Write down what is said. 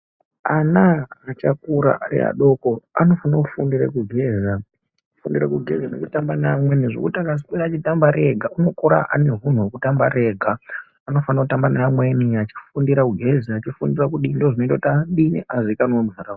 Ana achakura ariadoko anofanire kufunda kugeza, kugeza nekutamba neamweni zvekuti achaswera achitamba ega unokura ane hunhu hwekutamba ari ega, anofanira kutamba neamweni achifundire kudii? Ndizvo zvinoita kuti adini? Azoita muntu akanaka.